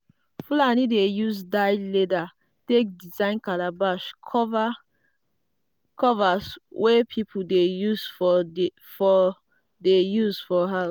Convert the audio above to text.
fulani dey use dyed leather take design calabash covers wey people dey use for dey use for house.